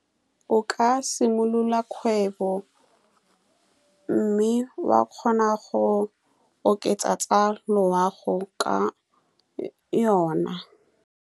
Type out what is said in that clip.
O ka simolola kgwebo, mme wa kgona go oketsa tsa loago ka yone.